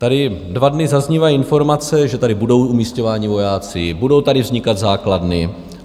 Tady dva dny zaznívají informace, že tady budou umisťováni vojáci, budou tady vznikat základny.